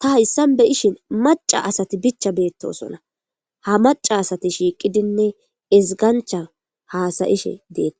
ta hayssan beyishin maca asati bicha beettosona ha maca asati shiiqidinne ezgancha haasayishe deettees.